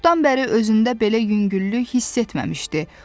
Çoxdan bəri özündə belə yüngüllük hiss etməmişdi.